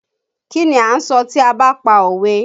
Kí ni a ń sọ tí a ba pa òwe?